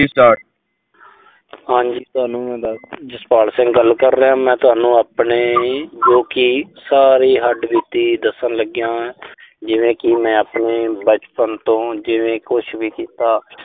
ਹਾਂਜੀ ਤੁਹਾਨੂ ਮੈਂ ਦੱਸਦਾਂ। ਜਸਪਾਲ ਸਿੰਘ ਗੱਲ ਕਰ ਰਿਹਾਂ। ਮੈਂ ਤੁਹਾਨੂੰ ਆਪਣੇ ਜੋ ਕਿ ਸਾਰੀ ਹੱਡਬੀਤੀ ਦੱਸਣ ਲੱਗਿਆਂ। ਜਿਵੇਂ ਕਿ ਮੈਂ ਆਪਣੇ ਬਚਪਨ ਤੋਂ ਜਿਵੇਂ ਕੁਸ਼ ਵੀ ਕੀਤਾ।